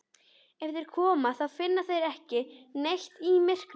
Ef þeir koma þá finna þeir ekki neitt í myrkrinu.